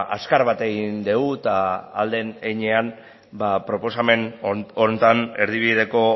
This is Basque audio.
azkar bat egin dugu eta ahal den heinean ba proposamen honetan erdibideko